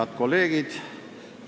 Head kolleegid!